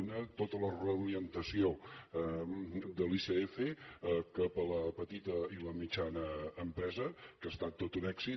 una tota la reorientació de l’icf cap a la petita i la mitjana empresa que ha estat tot un èxit